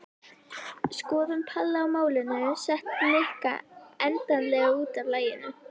Skoðun Palla á málinu setti Nikka endanlega út af laginu.